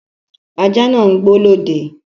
Ajá náà ń gbó lọ́dẹ